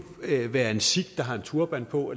være en sikh der har en turban på